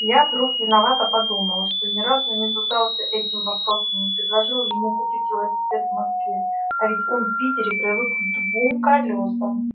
я вдруг виновато подумал что ни разу не задался этим вопросом не предложил ему купить велосипед в москве а ведь он в питере привык к двум колёсам